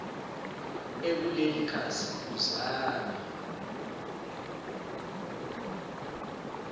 ekuleli khasi uzame